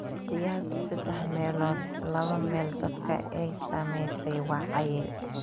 Qiyaastii saddex meelood laba meel dadka ay saamaysay waa cayil.